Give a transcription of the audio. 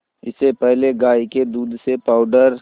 इससे पहले गाय के दूध से पावडर